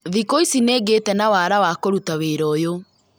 Thikũ ici nĩ ngĩte na wara wa kũruta wĩra ũyũ